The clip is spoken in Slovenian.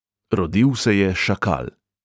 Rodil se je šakal.